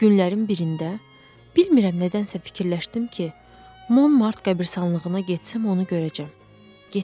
Günlərin birində bilmirəm nədənsə fikirləşdim ki, Monmart qəbiristanlığına getsəm onu görəcəm.